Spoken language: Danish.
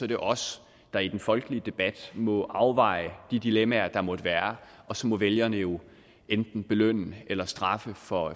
det os der i den folkelige debat må afveje de dilemmaer der måtte være og så må vælgerne jo enten belønne eller straffe for